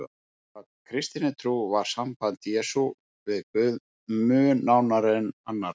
Samkvæmt kristinni trú var samband Jesú við Guð mun nánara en annarra.